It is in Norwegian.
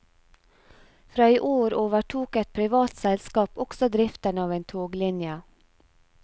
Fra i år overtok et privat selskap også driften av en toglinje.